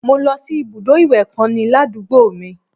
Mo lọ sí ibùdó ìwẹ̀ kan ní ládùúgbò mi